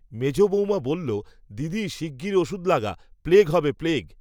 মেজ বৌমা বলল, দিদি শিগগির ওষুধ লাগা, প্লেগ হবে, প্লেগ।